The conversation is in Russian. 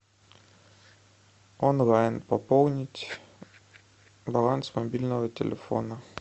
онлайн пополнить баланс мобильного телефона